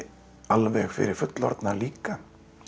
alveg fyrir fullorðna líka